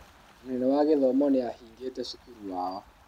Mũnene wa gĩthomo nĩahingĩte cukuru wao